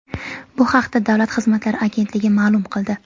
Bu haqda Davlat xizmatlari agentligi ma’lum qildi .